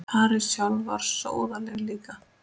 París sjálf var sóðaleg líka.